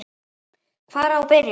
Hvar á að byrja?